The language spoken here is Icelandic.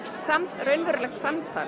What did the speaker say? raunverulegt samtal